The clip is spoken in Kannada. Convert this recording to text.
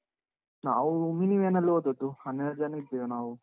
ನಾವು, mini van ಅಲ್ ಹೋದದ್ದು. ಹನ್ನೆರಡು ಜನ ಇದ್ದೆವು ನಾವು.